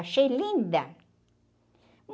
Achei linda.